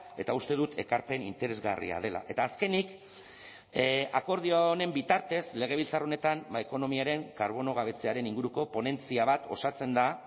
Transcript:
eta uste dut ekarpen interesgarria dela eta azkenik akordio honen bitartez legebiltzar honetan ekonomiaren karbono gabetzearen inguruko ponentzia bat osatzen da